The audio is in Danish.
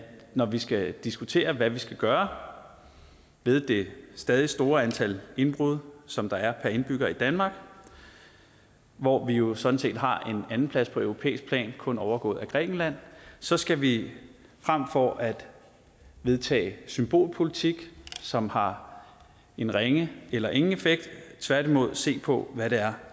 når vi skal diskutere hvad vi skal gøre ved det stadig store antal indbrud som der er per indbygger i danmark hvor vi jo sådan set har en andenplads på europæisk plan kun overgået af grækenland så skal vi frem for at vedtage symbolpolitik som har en ringe eller ingen effekt tværtimod se på hvad det er